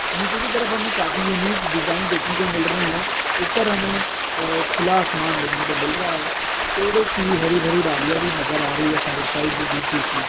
निचे की तरफ हमें काफी यूनिक डिजाइन दिखने को मिल रही है। ऊपर हमें आ खुला आसमान दिख ने को मिल रहा है। पेड़ो की रही भरी डालिया भी नजर आ रही है साइड साइड में बिच बिच में।